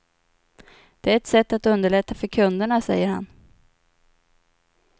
Det är ett sätt att underlätta för kunderna, säger han.